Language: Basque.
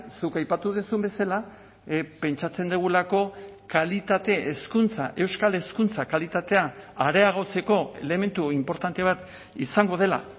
zuk aipatu duzun bezala pentsatzen dugulako kalitate hezkuntza euskal hezkuntza kalitatea areagotzeko elementu inportante bat izango dela